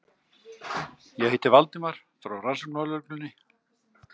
Ég heiti Valdimar, frá Rannsóknarlögreglunni.